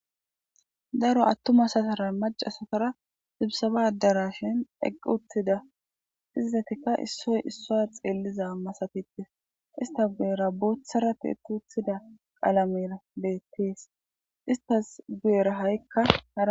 Daro atuma asatara macca asatara sisaba adarashen eqi uttida. Izatika isoy isuwa xeliza masatetes istta guyeera bothara tiyetida qalamey bettes. Istta guyeera ha'ikka haray